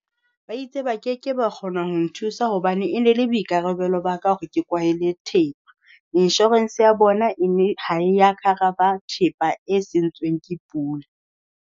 Ba itse ba keke ba kgona ho nthusa hobane e ne le boikarabelo ba ka hore ke kwahele thepa, insurance ya bona e ne ha e ya thepa e sentsweng ke pula.